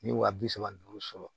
N ye wa bi saba ni duuru sɔrɔ